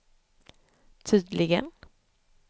tydligen